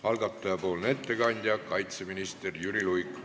Algataja nimel teeb ettekande kaitseminister Jüri Luik.